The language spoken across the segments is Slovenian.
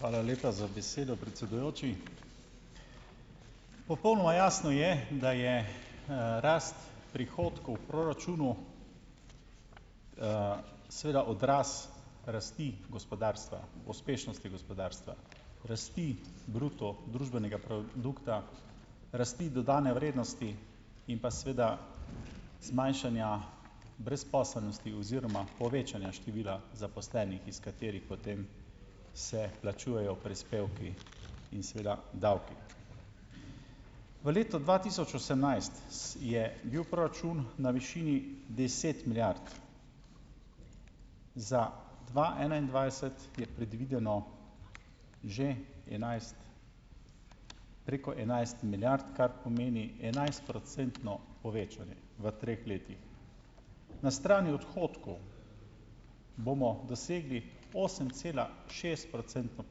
Hvala lepa za besedo, predsedujoči. Popolnoma jasno je, da je rast prihodkov v proračunu seveda odraz rasti gospodarstva, uspešnosti gospodarstva, rasti bruto družbenega produkta, rasti dodane vrednosti in seveda zmanjšanja brezposelnosti oziroma povečanja števila zaposlenih, iz katerih potem se plačujejo prispevki in seveda davki. V letu dva tisoč osemnajst je bil proračun na višini deset milijard, za dva enaindvajset je predvideno že enajst preko enajst milijard, kar pomeni enajstprocentno povečanje, v treh letih na strani odhodkov bomo dosegli osemcelašestprocentno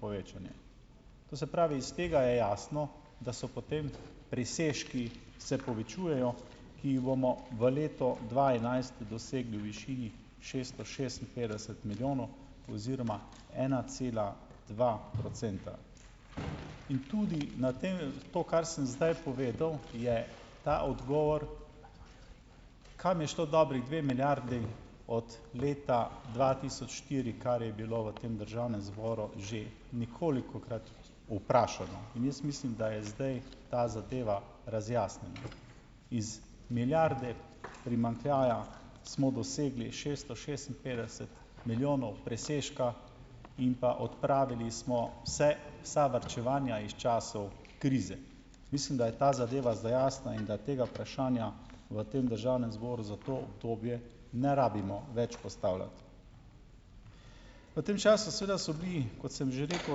povečanje, to se pravi iz tega je jasno, da so potem presežki se povečujejo, ki jih bomo v letu dva enajst dosegli v višini šesto šestinpetdeset milijonov oziroma ena cela dva procenta, in tudi na tem to, kar sem zdaj povedal, je ta odgovor, kam je šlo dobrih dve milijardi od leta dva tisoč štiri, kar je bilo v tem državnem zboru že ničkolikokrat vprašano, in jaz mislim, da je zdaj ta zadeva razjasnjena, iz milijarde primanjkljaja smo dosegli šeststo šestinpetdeset milijonov presežka in pa odpravili smo se vsa varčevanja iz časov krize. Mislim, da je ta zadeva zdaj jasna in da tega vprašanja v tem državnem zboru za to obdobje ne rabimo več postavljati. V tem času seveda so bili, kot sem že rekel,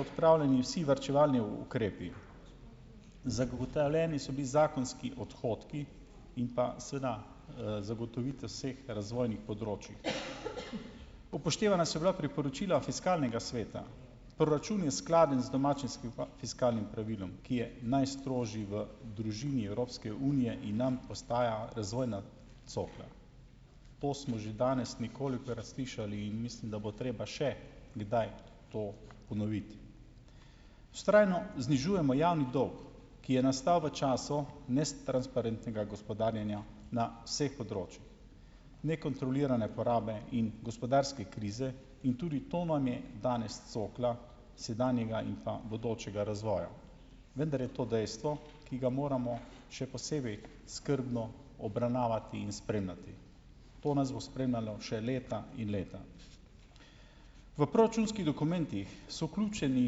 odpravljeni vsi varčevalni ukrepi, zagotovljeni so bili zakonski odhodki in seveda zagotovitev vseh razvojnih področij, upoštevana so bila priporočila fiskalnega sveta, proračun je skladen z domačim fiskalnim pravilom, ki je najstrožji v družini Evropske unije in nam postaja razvojna cokla, to smo že danes ničkolikokrat slišali, in mislim, da bo treba še kdaj to ponoviti, vztrajno znižujemo javni dolg, ki je nastal v času netransparentnega gospodarjenja na vseh področjih nekontrolirane porabe in gospodarske krize, in tudi to nam je danes cokla sedanjega in pa bodočega razvoja, vendar je to dejstvo, ki ga moramo še posebej skrbno obravnavati in spremljati, to nas bo spremljalo še leta in leta. V proračunskih dokumentih so ključeni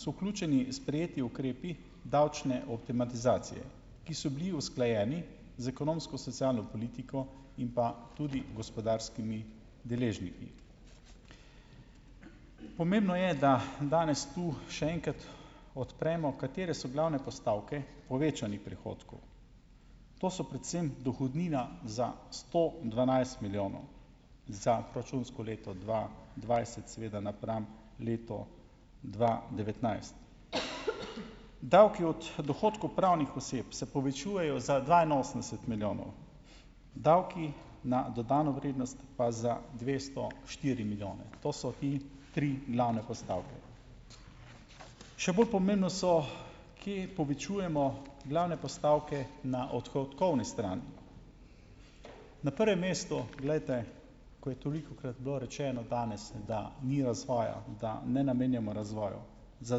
so vključeni sprejeti ukrepi davčne optimizacije, ki so bili usklajeni z ekonomsko-socialno politiko in pa tudi gospodarskimi deležniki, pomembno je, da danes tu še enkrat odpremo, katere so glavne postavke povečanih prihodkov, to so predvsem dohodnina za sto dvanajst milijonov računsko leto dva dvajset seveda napram letu dva devetnajst, davki od dohodkov pravnih oseb se povečujejo za dvainosemdeset milijonov, davki na dodano vrednost pa za dvesto štiri milijone, to so in tri glavne postavke. Še bolj pomembno so, kje povečujemo glavne postavke na odhodkovne strani, na prvem mestu, glejte, ko je tolikokrat bilo rečeno danes, da ni razvoja, da ne namenjamo razvoju, za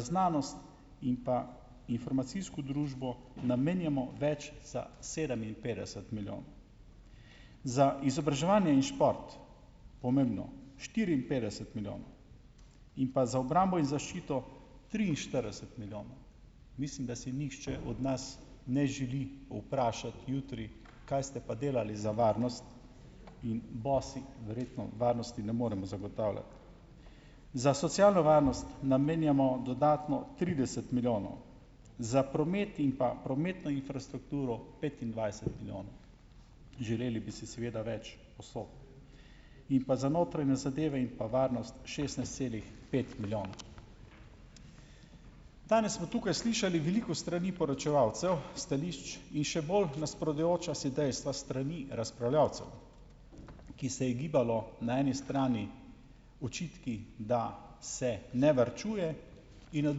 znanost in pa informacijsko družbo namenjamo več za sedeminpetdeset milijonov, za izobraževanje in šport pomembno štiriinpetdeset milijonov, in pa za obrambo in zaščito triinštirideset milijonov, mislim, da si nihče od nas ne želi vprašati jutri, kaj ste pa delali za varnost in bosi verjetno varnosti ne moremo zagotavljati, za socialno varnost namenjamo dodatno trideset milijonov, za promet in pa prometno infrastrukturo petindvajset milijonov, želeli bi si seveda več posod in pa za notranje zadeve in pa varnost šestnajst celih pet milijonov. Danes smo tukaj slišali veliko strani poročevalcev stališč in še bolj nasprotujoča si dejstva strani razpravljavcev, ki se je gibalo na eni strani očitki, da se ne varčuje, in na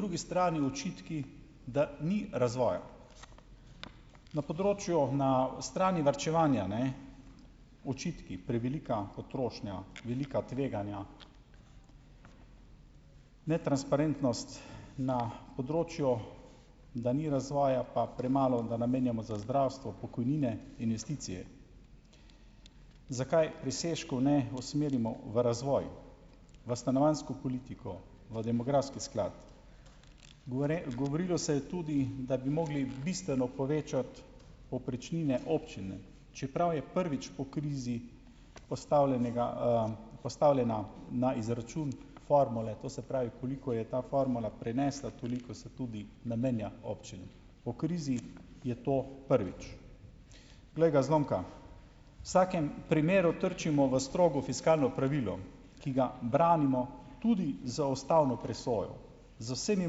drugi strani očitki, da ni razvoja, na področju na strani varčevanja, ne, očitki prevelika potrošnja, velika tveganja, netransparentnost, na področju, da ni razvoja pa premalo, da namenjamo za zdravstvo, pokojnine, investicije, zakaj presežkov ne usmerimo v razvoj, v stanovanjsko politiko, v demografski sklad. govorilo se je tudi, da bi morali bistveno povečati povprečnine občine, čeprav je prvič po krizi postavljenega postavljena na izračun formule, to se pravi, koliko je ta formula prenesla, toliko se tudi namenja občinam, po krizi je to prvič, glej ga, zlomka, vsakem primeru trčimo v strogo fiskalno pravilo, ki ga branimo tudi z ustavno presojo, z vsemi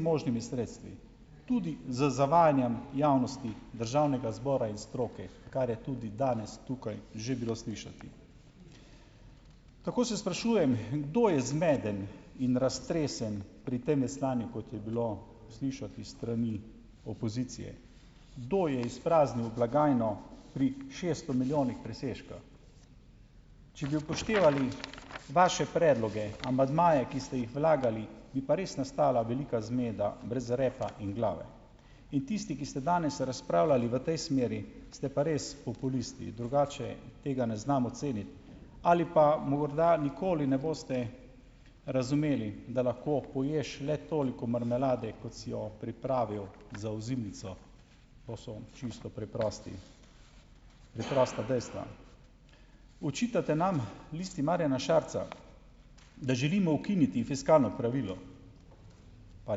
možnimi sredstvi, tudi z zavajanjem javnosti državnega zbora in stroke, kar je tudi danes tukaj že bilo slišati, tako se sprašujem, kdo je zmeden in raztresen pri tem veslanju, kot je bilo slišati strani opozicije, do je izpraznil blagajno pri šesto milijonih presežka, če bi upoštevali vaše predloge amandmaje, ki ste jih vlagali, bi pa res nastala velika zmeda brez repa in glave, in tisti, ki ste danes razpravljali v tej smeri, ste pa res populisti, drugače tega ne znam oceniti, ali pa morda nikoli ne boste razumeli, da lahko poješ le toliko marmelade, kot si jo pripravil za ozimnico, to so čisto preprosti, preprosta dejstva, očitate nam, Listi Marjana Šarca, da želimo ukiniti fiskalno pravilo, pa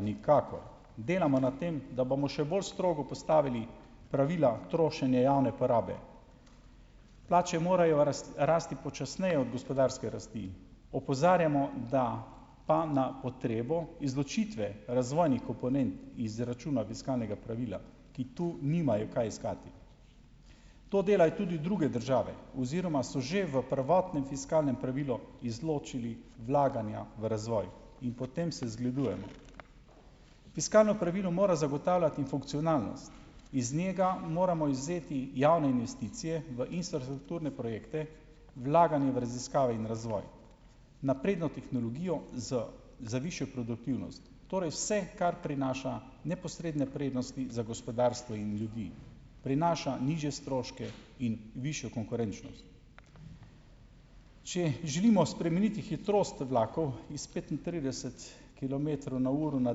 nikakor, delamo na tem, da bomo še bolj strogo postavili pravila trošenje javne porabe, plače morajo rasti počasneje od gospodarske rasti, opozarjamo, da pa na potrebo izločitve razvojnih komponent izračuna fiskalnega pravila, ki tu nimajo kaj iskati, to delajo tudi druge države oziroma so že v prvotnem fiskalnem pravilu izločili vlaganja v razvoj, in po tem se zgledujemo, fiskalno pravilo mora zagotavljati funkcionalnost, iz njega moramo izvzeti javne investicije v infrastrukturne projekte, vlaganje v raziskave in razvoj, napredno tehnologijo z za višjo produktivnost, torej vse, kar prinaša neposredne prednosti za gospodarstvo in ljudi, prinaša nižje stroške in višjo konkurenčnost. Če želimo spremeniti hitrost vlakov iz petintrideset kilometrov na uro na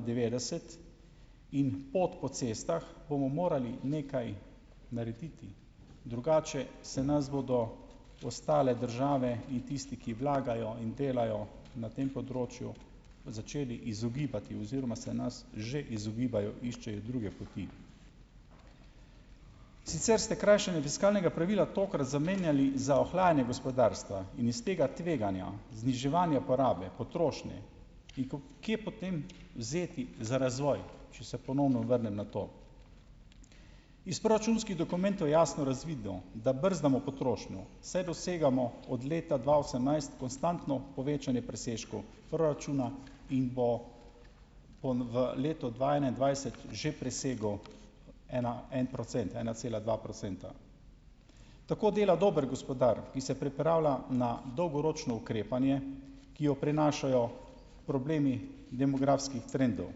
devetdeset in pot po cestah, bomo morali nekaj narediti, drugače se nas bodo ostale države in tisti, ki vlagajo in delajo na tem področju, začeli izogibati oziroma se nas že izogibajo, iščejo druge poti. Sicer ste krajšanje fiskalnega pravila tokrat zamenjali za ohlajanje gospodarstva in iz tega tveganja zniževanja porabe potrošnje, kje potem vzeti za razvoj. Če se ponovno vrnem na to, iz proračunskih dokumentov je jasno razvidno, da brzdamo potrošnjo, saj dosegamo od leta dva osemnajst konstantno povečanje presežkov proračuna in bo v letu dva enaindvajset že presegel ena en procent ena cela dva procenta, tako dela dober gospodar, ki se pripravlja na dolgoročno ukrepanje, ki jo prinašajo problemi demografskih trendov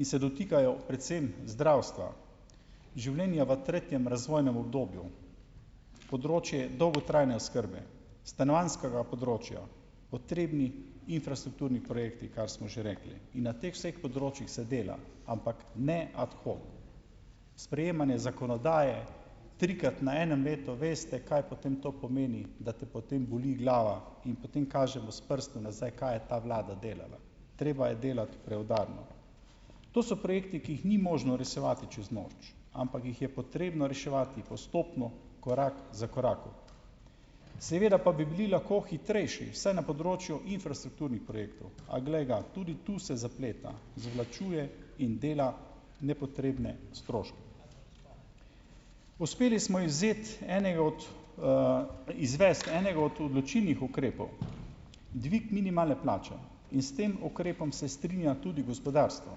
in se dotikajo predvsem zdravstva, življenja v tretjem razvojnem obdobju, področje dolgotrajne oskrbe, stanovanjskega področja, potrebni infrastrukturni projekti, kar smo že rekli, in na teh vseh področjih se dela, ampak ne, a tako, sprejemanje zakonodaje trikrat na enem letu, veste, kaj potem to pomeni, da te potem boli glava, in potem kažemo s prstom nazaj, kaj je ta vlada delala, treba je delati preudarno, to so projekti, ki jih ni možno rosevati čez noč, ampak jih je potrebno reševati postopno, korak za koraku, seveda pa bi bili lahko hitrejši vsaj na področju infrastrukturnih projektov, a glej ga, tudi tu se zapleta zavlačuje in dela nepotrebne stroške. Uspeli smo izvzeti enega od, izvesti enega od odločilnih ukrepov, dvig minimalne plače, in s tem ukrepom se strinja tudi gospodarstvo.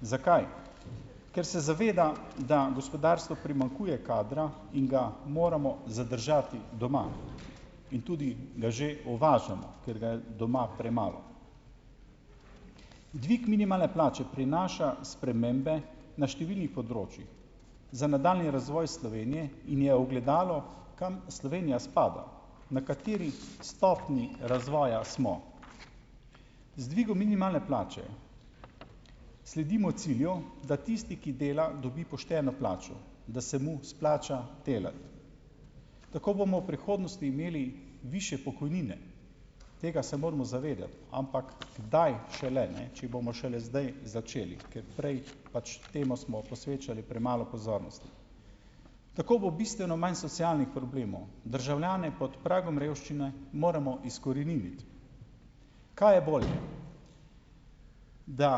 Zakaj? Ker se zaveda, da gospodarstvu primanjkuje kadra in ga moramo zadržati doma, in tudi ga že uvažamo, ker ga je doma premalo, Dvig minimalne plače prinaša spremembe na številnih področjih za nadaljnji razvoj Slovenije in je ogledalo, kam Slovenija spada, na kateri stopnji razvoja smo, z dvigom minimalne plače sledimo cilju, da tisti, ki dela dobi pošteno plačo, da se mu splača delati, tako bomo prihodnosti imeli višje pokojnine, tega se moramo zavedati, ampak kdaj šele, ne, če bomo šele zdaj začeli, ker prej pač temu smo posvečali premalo pozornosti. Takoj bi bistveno manj socialnih problemov, državljane pod pragom revščine moremo izkoreniniti, kaj je bolj, da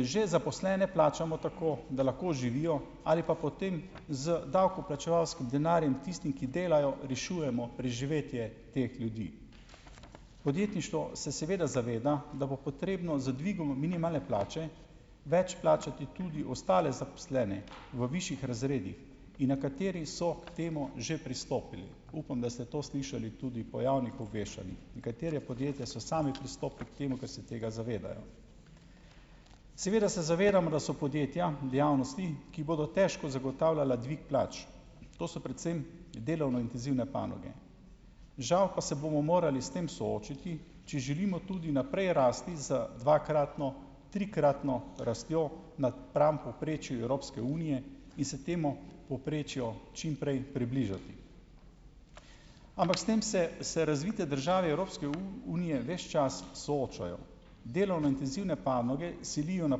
že zaposlene plačamo tako, da lahko živijo, ali pa potem z davkoplačevalskim denarjem tistim, ki delajo, rešujemo preživetje teh ljudi, podjetništvo se seveda zaveda, da bo potrebno z dvigom minimalne plače več plačati tudi ostale zaposlene v višjih razredih, in nekateri so k temu že pristopili, upam, da ste to slišali tudi po javnih obveščanjih, nekatera podjetja so sami pristopili k temu, ko se tega zavedajo, seveda se zavedam, da so podjetja v javnosti, ki bodo težko zagotavljala dvig plač, to so predvsem delovno intenzivne panoge, žal pa se bomo morali s tem soočiti, če želimo tudi naprej rasti za dvakratno, trikratno rastjo napram povprečju Evropske unije, in se temu povprečju čimprej približati, ampak ste se vse razvite države Evropske unije ves čas soočajo, delovno intenzivne panoge selijo na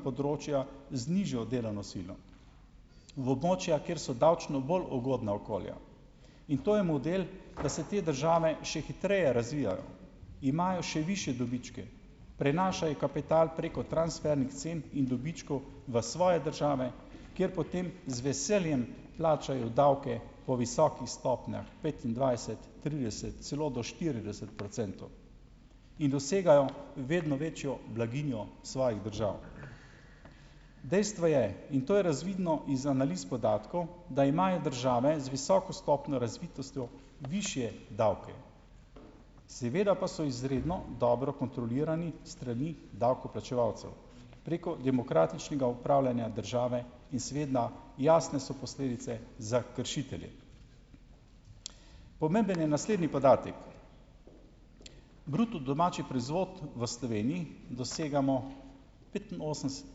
področja z nižjo oddelano silo v območja, ki so davčno bolj ugodna okolja, in to je model, ki se te države še hitreje razvijajo, imajo še višje dobičke prenašajo kapital preko transfernih cen in dobičkov v svoje države, ker potem z veseljem plačajo davke po visokih stopnjah, petindvajset trideset celo do štirideset procentov, in dosegajo vedno večjo blaginjo svojih držav. Dejstvo je, in to je razvidno iz analiz podatkov, da imajo države z visoko stopnjo razvitostjo višje davke, seveda pa so izredno dobro kontrolirani strani davkoplačevalcev preko demokratičnega upravljanja države in srednja jasne so posledice za kršitelje, pomemben je naslednji podatek: bruto domači proizvod v Sloveniji dosegamo petinosemdeset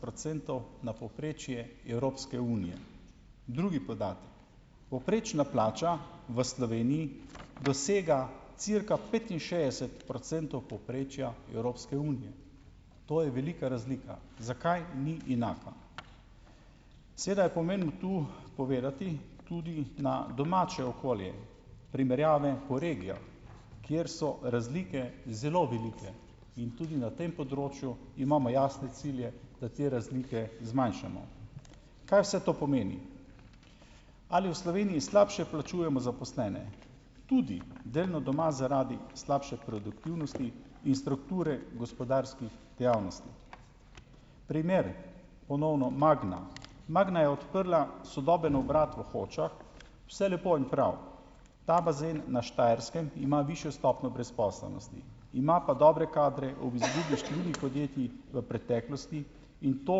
procentov na povprečje Evropske unije. Drugi podatek: povprečna plača v Sloveniji dosega cirka petinšestdeset procentov povprečja Evropske unije, to je velika razlika, zakaj ni enaka, seveda je pomembno tu povedati tudi na domače okolje, primerjave po regijah, kjer so razlike zelo velike, in tudi na tem področju imamo jasne cilje, da te razlike zmanjšamo, kaj vse to pomeni, ali v Sloveniji slabše plačujemo zaposlene, tudi delno doma zaradi slabše produktivnosti in strukture gospodarskih dejavnosti. Primer. Ponovno Magna. Magna je odprla sodoben obrat v Hočah, vse lepo in prav, ta bazen na Štajerskem ima višjo stopnjo brezposelnosti, ima pa dobre kadre ob izgubi številnih podjetij v preteklosti, in to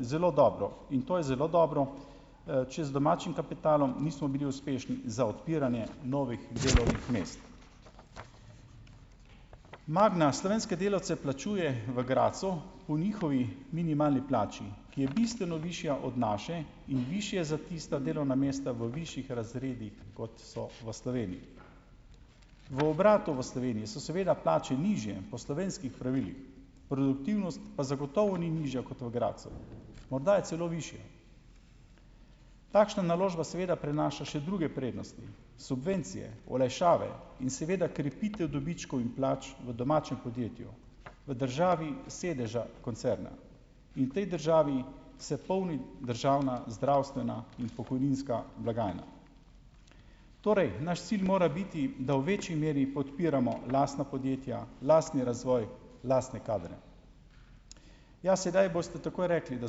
zelo dobro, in to je zelo dobro, če z domačim kapitalom nismo bili uspešni za odpiranje novih delovnih mest, Magna slovenske delavce plačuje v Gradcu po njihovi minimalni plači, ki je bistveno višja od naše in višje za tista delovna mesta v višjih razredih, kot so v Sloveniji, v obratu v Sloveniji so seveda plače nižje po slovenskih pravilih, produktivnost pa zagotovo ni nižja kot v Gradcu, morda je celo višja, takšna naložba seveda prinaša še druge prednosti, subvencije, olajšave, in seveda krepitev dobičkov in plač, v domačem podjetju, v državi sedeža koncerna, in tej državi se polni državna zdravstvena in pokojninska blagajna, torej naš cilj mora biti, da v večji meri podpiramo lastna podjetja, lastni razvoj, lastne kadre, ja, sedaj boste takoj rekli, da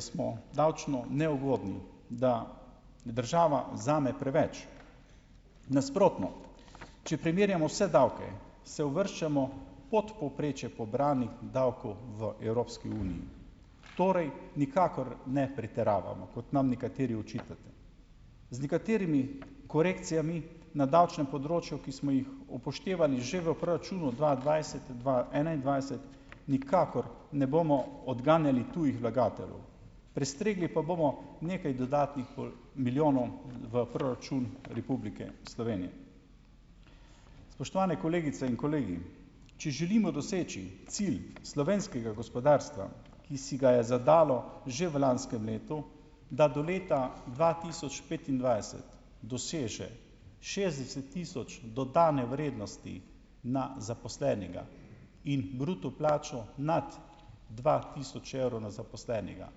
smo davčno neugodni, da država vzame preveč, nasprotno, če primerjamo vse davke, se uvrščamo pod povprečje pobranih davkov v Evropski uniji, torej nikakor ne pretiravamo, kot nam nekateri očitate, z nekaterimi korekcijami na davčnem področju, ki smo jih upoštevali že v proračunu dva dvajset dva enaindvajset, nikakor ne bomo odganjali tujih vlagateljev, prestregli pa bomo nekaj dodatnih milijonov v proračun Republike Slovenije. Spoštovane kolegice in kolegi, če želimo doseči cilj slovenskega gospodarstva, ki si ga je zadalo že v lanskem letu da do leta dva tisoč petindvajset doseže šestdeset tisoč dodane vrednosti na zaposlenega in bruto plačo nad dva tisoč evrov na zaposlenega,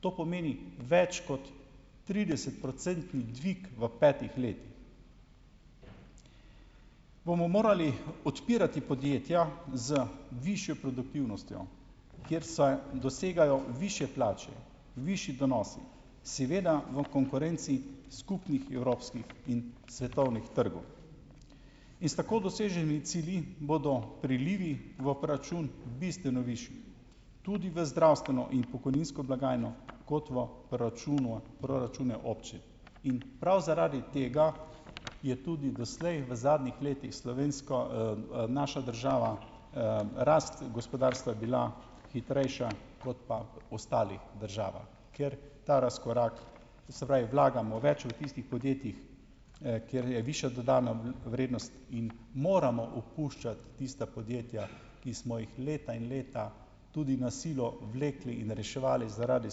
to pomeni več kot tridesetprocentni dvig v petih letih, bomo morali odpirati podjetja z višjo produktivnostjo, kjer se dosegajo višje plače, višji donosi, seveda v konkurenci skupnih evropskih in svetovnih trgov, in s tako doseženi cilji bodo prilivi v proračun bistveno višji, tudi v zdravstveno in pokojninsko blagajno kot v proračunu proračune občin, in prav zaradi tega je tudi doslej v zadnjih letih slovensko naša država, rast gospodarstva je bila hitrejša kot pa ostalih državah, ker ta razkorak, to se pravi, vlagamo več v tistih podjetjih, kjer je višja dodana vrednost in moramo opuščati tista podjetja, ki smo jih leta in leta tudi na silo vlekli in reševali zaradi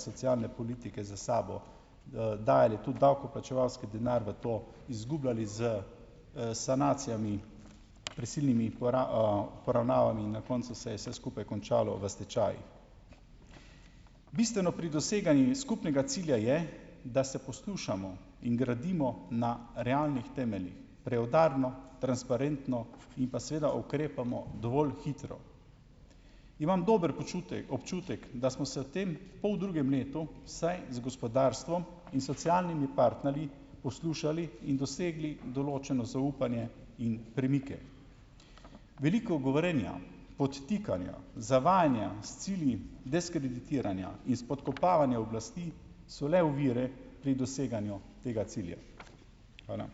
socialne politike za sabo, dalje tudi davkoplačevalski denar v to izgubljali s sanacijami, prisilnimi poravnavami in na koncu se je se skupaj končalo v stečajih. Bistveno pri doseganju skupnega cilja je, da se poslušamo in gradimo na realnih temeljih, preudarno, transparentno, in pa seveda ukrepamo dovolj hitro. Imam dober občutek, da smo se tem pa v drugem letu saj z gospodarstvom in socialnimi partnerji poslušali in dosegli določeno zaupanje in premike. Veliko govorjenja, podtikanja, zavajanja s cilji diskreditiranja in izpodkopavanja oblasti so le ovire pri doseganju tega cilja. Hvala.